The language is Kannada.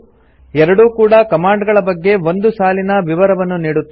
ಎರಡೂ ಕೂಡಾ ಕಮಾಂಡ್ ಗಳ ಬಗ್ಗೆ ಒಂದು ಸಾಲಿನ ವಿವರವನ್ನು ನೀಡುತ್ತದೆ